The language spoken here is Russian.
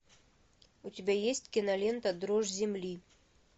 у тебя есть кинолента дрожь земли